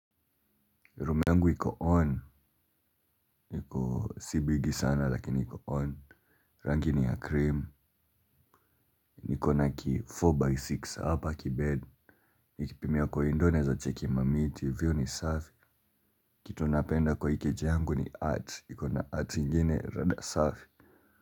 Room yangu iko on, niko si bigi sana lakini iko on, rangi ni ya krimu, nikona ki 4x6 hapa kibed, nikipimia kwa window naeza cheki mamiti, hivyo ni safi, kitu napenda kwa hii keja yangu ni art, ikona art ingine rada safi.